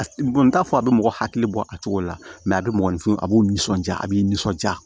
n t'a fɔ a bɛ mɔgɔ hakili bɔ a cogo la a bɛ mɔgɔnifin a b'u nisɔndiya a b'i nisɔndiya